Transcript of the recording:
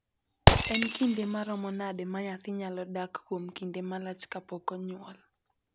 En kinde maromo nade ma nyathi nyalo dak kuom kinde malach kapok onyuol?